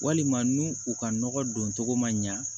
Walima n'u u ka nɔgɔ don cogo ma ɲa